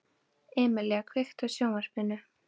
Emelía, kveiktu á sjónvarpinu.